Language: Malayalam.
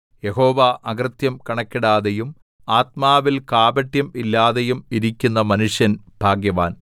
യഹോവ അകൃത്യം കണക്കിടാതെയും ആത്മാവിൽ കാപട്യം ഇല്ലാതെയും ഇരിക്കുന്ന മനുഷ്യൻ ഭാഗ്യവാൻ